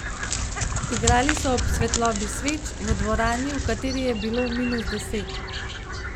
Igrali so ob svetlobi sveč, v dvorani, v kateri je bilo minus deset.